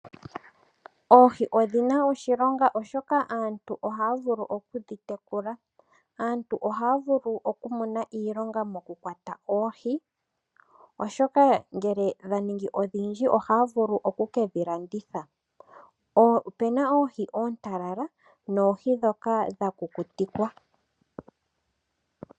Oohi odhina oshilonga oshoka aantu ohaya vulu okudhi tekula. Aantu ohaya vulu oku mona iilonga mokukwata oohi, oshoka ngele dhaningi odhindji ohaya vulu oku kedhi landithapo. Opena oohi oontalala noohi dhoka dha kukutikwa.